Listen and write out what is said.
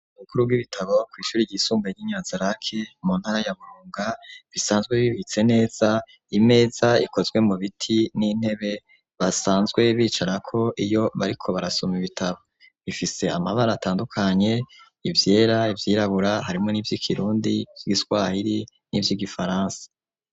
Ububiko bukuru bw'ibitabo kw'ishuri ryisumbae ryi Nyanzarake mu ntara ya Burunga bisanzwe bibitse neza imeza ikozwe mu biti n'intebe basanzwe bicarako iyo bariko barasoma ibitabo bifise amabara atandukanye ivyera ivyirabura harimwo nivyi kirundi ivyi giswahiri nivyi gifaransa.